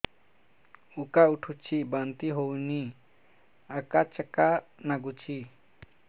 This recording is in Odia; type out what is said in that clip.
ଉକା ଉଠୁଚି ବାନ୍ତି ହଉନି ଆକାଚାକା ନାଗୁଚି